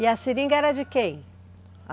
E a seringa era de quem?